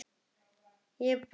Ekki núna, mamma.